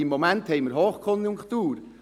Im Moment haben wir Hochkonjunktur.